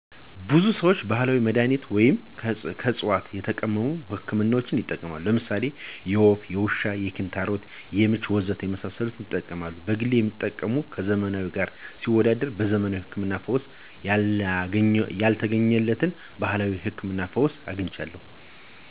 ብዙ ሰዎች ባህላዊ መድሃኒቶችን ወይም ከዕፅዋት የተቀመሙ ህክምናዎችን ይጠቀማሉ። ለምሳሌ የወፍ፣ የውሻ፣ የኪንታሮት፣ የምች፣ ወዘተ ለመሳሰሉት ይጠቀማሉ። በግሌ የተጠቀምኩት ከዘመናዊ ጋር ሲወዳደር በዘመናዊ ህክምና ፈውስ ያልተገኘለትን በባህላዊው ህክምና ፈውስ አግኝቻለሁ።